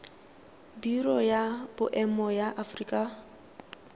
biro ya boemo ya aforika